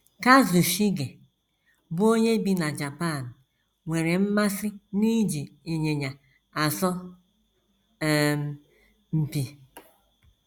Kazushige, bụ́ onye bi na Japan, nwere mmasị n’iji ịnyịnya asọ um mpi.